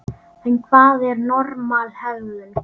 En hvað er normal hegðun?